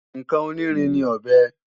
Ǹkan onírin ní ọ̀bẹ